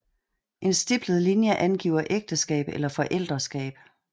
En stiplet linje angiver ægteskab eller forældreskab